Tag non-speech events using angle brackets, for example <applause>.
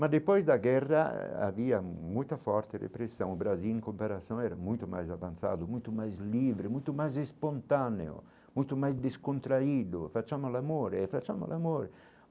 Mas depois da guerra havia muita forte repressão, o Brasil em comparação era muito mais avançado, muito mais livre, muito mais espontâneo, muito mais descontraído. <unintelligible>